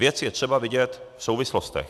Věc je třeba vidět v souvislostech.